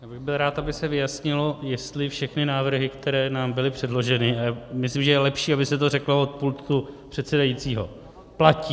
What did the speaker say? Já bych byl rád, aby se vyjasnilo, jestli všechny návrhy, které nám byly předloženy - a myslím, že je lepší, aby se to řeklo od pultu předsedajícího - platí.